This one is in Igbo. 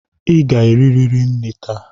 I ga-eririri nri taa